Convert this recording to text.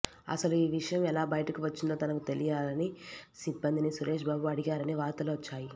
అసలు ఈ విషయం ఎలా బయటకు వచ్చిందో తనకు తెలియాలని సిబ్బందిని సురేష్ బాబు అడిగారని వార్తలు వచ్చాయి